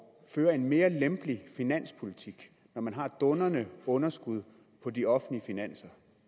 føre en mere lempelig finanspolitik når man har et dundrende underskud på de offentlige finanser